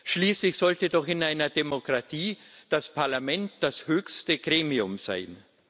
Schließlich sollte doch in einer Demokratie das Parlament das höchste Gremium sein.